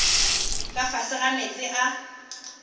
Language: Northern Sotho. ka fase ga meetse a